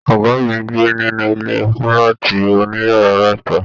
Ọgá mí n gbé nínú ilé fúlàátí òníyàrá mẹta.